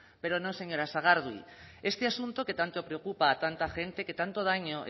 pero no señora sagardui este asunto que tanto preocupa a tanta gente que tanto daño